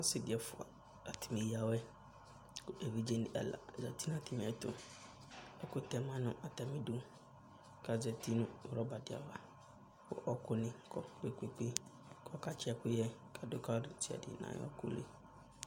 Ɔsɩ dɩ ɛfʋa, atanɩ eyǝ awɛ kʋ edivzenɩ ɛla azati nʋ atamɩɛtʋ Ɛkʋtɛ ma nʋ atamɩdu kʋ azati nʋ rɔba dɩ ava kʋ ɔɣɔkʋnɩ kɔ kpe-kpe-kpe kʋ ɔkatsɩ ɛkʋyɛ kadʋ ka ɔlʋ desiade nʋ ayʋ ɔɣɔkʋ li